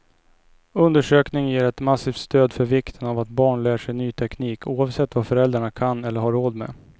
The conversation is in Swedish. Undersökningen ger ett massivt stöd för vikten av att barn lär sig ny teknik, oavsett vad föräldrarna kan eller har råd med.